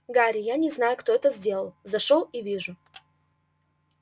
гарри я не знаю кто это сделал зашёл и вижу